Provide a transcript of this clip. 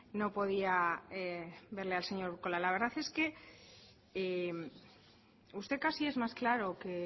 no podía verle al señor urkola la cara usted casi es más claro que